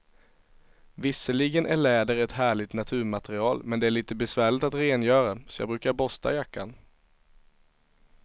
Visserligen är läder ett härligt naturmaterial, men det är lite besvärligt att rengöra, så jag brukar borsta jackan.